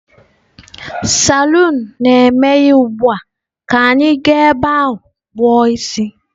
Salon na-emeghe ugbu a, ka anyị gaa ebe a kpu o isi.